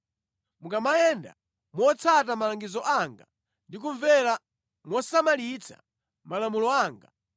“ ‘Mukamayenda motsata malangizo anga ndi kumvera mosamalitsa malamulo anga,